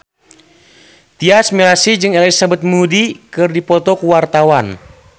Tyas Mirasih jeung Elizabeth Moody keur dipoto ku wartawan